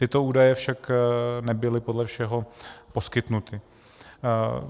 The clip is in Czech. Tyto údaje však nebyly podle všeho poskytnuty.